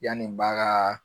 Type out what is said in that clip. Yani n ba kaa